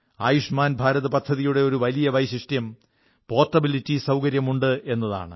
ആയുഷ്മാൻ ഭാരത് പദ്ധതിയുടെ ഒരു വലിയ വൈശിഷ്ട്യം പോർട്ടബിലിറ്റി സൌകര്യമുണ്ടെന്നതാണ്